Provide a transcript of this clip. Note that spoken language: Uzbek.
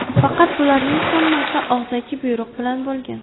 Faqat bularning hammasi og‘zaki buyruq bilan bo‘lgan.